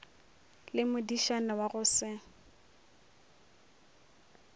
le modišana wa go se